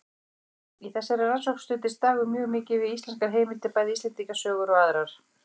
Í þessari rannsókn studdist Dagur mjög mikið við íslenskar heimildir, bæði Íslendingasögur og aðrar.